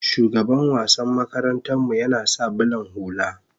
shugaban wassan makaranta mu yana sa bulan hulla